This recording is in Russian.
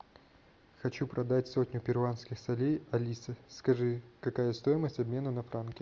хочу продать сотню перуанских солей алиса скажи какая стоимость обмена на франки